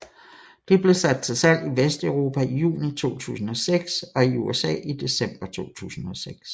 Det blev sat til salg i Vesteuropa i juni 2006 og i USA i december 2006